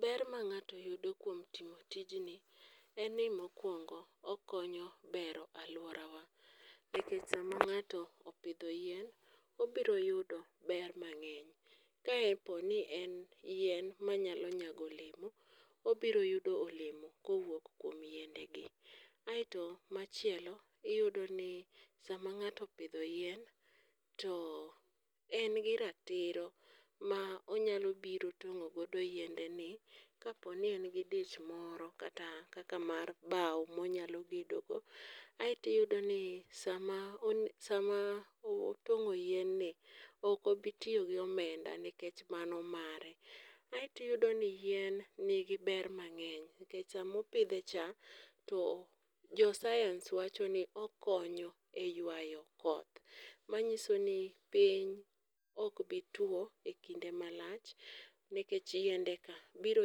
Ber ma ng'ato yudo kuom timo tijni en ni mokwongo okonyo bero alworawa nikech sama ng'ato opidho yien ,obiro yudo ber mang'eny kaponi en yien mayalo nyago olemo, obiro yudo olemo kowuok kuom yiendegi. Aeto machielo iyudoni sama ng'ato opidho yien, to en gi ratiro ,ma onyalo biro tong'o godo yiendeni kaponi en gi dich moro kata kaka mar bawo monyalo gedogo, Aeto iyudo ni sama otong'o yienni, ok obi tiyo gi omenda nikech mano mare. Aeto iyudo ni yien nigi ber mang'eny nikech sama opidhe cha, to jo sayans wacho ni okonyo e ywayo koth, manyiso ni piny ok bi tuwo e kinde malach nikech yiendeka biro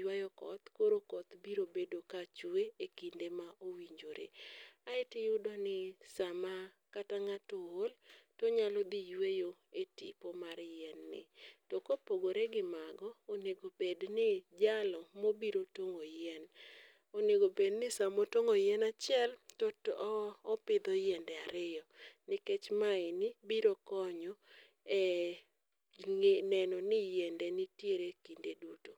ywayo koth koro koth biro bedo kachwe e kinde ma owinjore, aeto iyudo ni sama kata ng'ato ool, to onyalo dhi yweyo e tipo mar yienni, to kopogore gi mano, onego obedni jalo mobiro tong'o yien, onego obed ni sama otong'o yien achiel to opidho yiende ariyo nikech ma eni biro konyo e neno ni yiende nitiere kinde duto.